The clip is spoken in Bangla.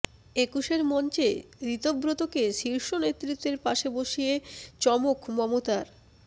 একুশের মঞ্চে ঋতব্রতকে শীর্ষ নেতৃত্বের পাশে বসিয়ে চমক মমতার